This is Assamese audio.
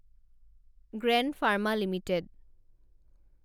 gland Pharma limited